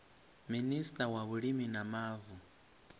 minista wa vhulimi na mavu